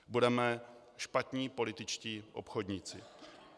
Budeme špatní političtí obchodníci.